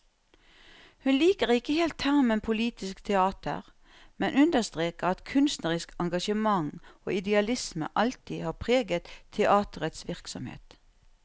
Hun liker ikke helt termen politisk teater, men understreker at kunstnerisk engasjement og idealisme alltid har preget teaterets virksomhet.